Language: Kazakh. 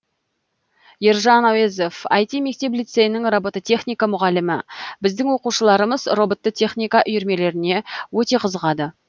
ержан әуезов іт мектеп лицейінің робототехника мұғалімі біздің оқушыларымыз роботты техника үйірмелеріне өте қызығады